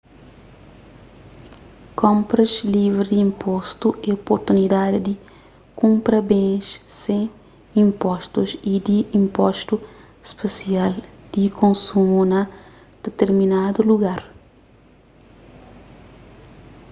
konpras livri di inpostu é oportunidadi di kunpra bens sen inpostus y di inpostu spesial di konsumu na ditirminadu lugar